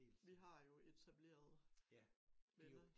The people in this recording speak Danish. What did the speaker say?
Vi har jo etableret venner